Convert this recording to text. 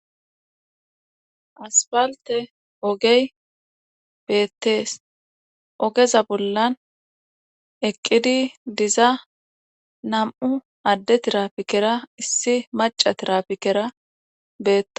aspalte ogey beettees ogeza bollan eqqidi diza nam7u adde tirapikera issi maca tirapikera beettes .